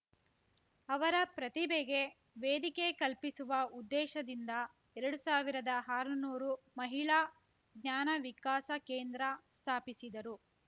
ಅವರ ಪ್ರತಿಭೆಗೆ ವೇದಿಕೆ ಕಲ್ಪಿಸುವ ಉದ್ದೇಶದಿಂದ ಎರಡು ಸಾವಿರದಹಾರುನೂರು ಮಹಿಳಾ ಜ್ಞಾನ ವಿಕಾಸ ಕೇಂದ್ರ ಸ್ಥಾಪಿಸಿದರು